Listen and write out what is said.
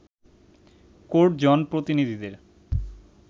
court জনপ্রতিনিধিদের